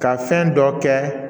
Ka fɛn dɔ kɛ